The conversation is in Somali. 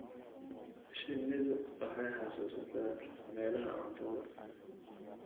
Shinnidu waxay xasuusataa meelaha cuntada.